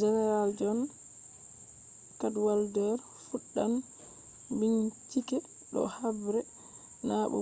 general john cadwalder fuɗɗan bincike do habre na do